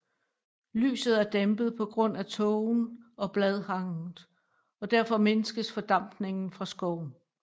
Lyset er dæmpet på grund af tågen og bladhanget og derfor mindskes fordampningen fra skoven